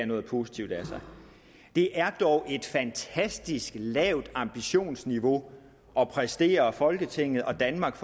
noget positivt af sig det er dog et fantastisk lavt ambitionsniveau at præstere for folketinget og danmark